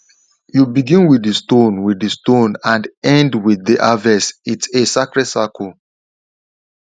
you begin with the stone with the stone and end with the harvestits a sacred cycle